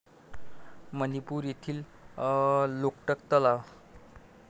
मणिपूर मधील लोकटक तलाव